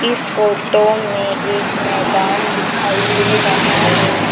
इस फोटो में एक मैदान दिखाई दे रहा है।